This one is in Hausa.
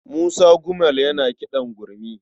Musa Gumel yana kiɗan gurmi.